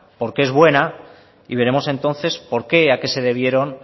porque es buena y veremos entonces por qué y a qué se debieron